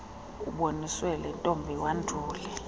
uboniswe lontombi wandule